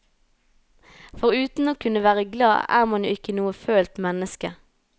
For uten å kunne være glad er man jo ikke noe følt menneske.